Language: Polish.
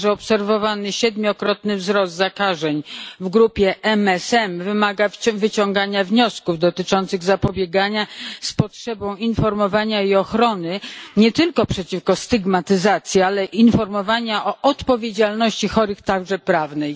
Także obserwowany siedmiokrotny wzrost zakażeń w grupie MSM wymaga wyciągnięcia wniosków dotyczących zapobiegania z potrzebą informowania i ochrony nie tylko przeciwko stygmatyzacji, ale informowania o odpowiedzialności chorych, także prawnej.